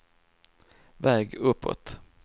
väg uppåt